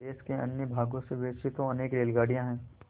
देश के अन्य भागों से वैसे तो अनेक रेलगाड़ियाँ हैं